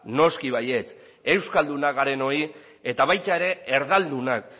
noski baietz euskaldunak garenoi eta baita ere erdaldunak